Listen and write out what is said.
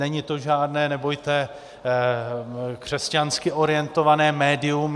Není to žádné, nebojte, křesťansky orientované médium.